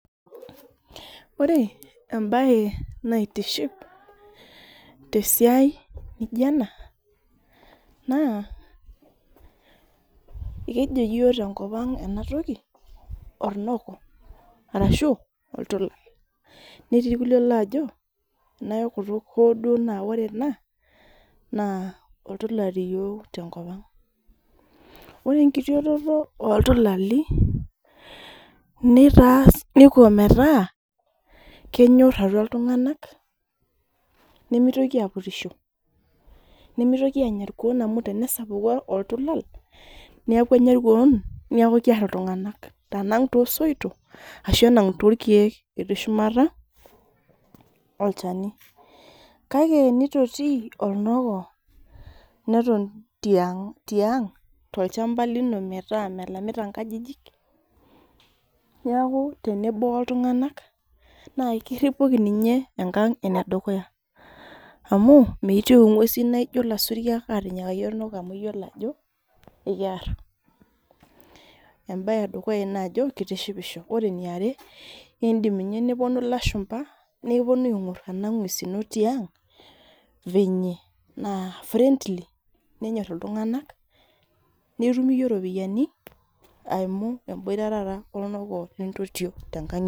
Ore embae naitiship tesiai naijo ena, naa ekijo yiok enatoki tenkopang' ornok ashu oltula netii irkulie loojo nayok kutuk hoo duo naa ore ena naa oltula teyiok tenkopang'.Ore enkitotioto oltulali neitaa Kiko metaa kenyor atua iltung'anak nemitokini apurisho. Nemitoki aanya irkuo amu tenesapuku oltulal, neeku enya irkuon neeku eer iltung'anak ,anang' toosoitok ashu enang' torkeek etii shumata olchani. Kake tenitoti oltulal neton tiang' tolchampa lino metaa melamita nkajijik, metaa tenebo oltung'anak ,naa ekiripoki ninye enkang' enedukuya ,amu miitieu ng'wesin naijo lasuriak atinyikaki oltulal amu keyiolo ajo kiar. Ebae edukuya ina ajo keitishipisho ,ore eniare naa keidim ninye neponu lashumpa ,naponu aing'or ena gwesin ino tiang fenye naa friendly nenyor iltung'anak ,nitum iyie ropiyiani eimu omboita olnoko lontotio tenkang' ino.